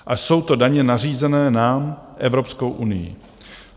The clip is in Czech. A jsou to daně nařízené nám Evropskou unií.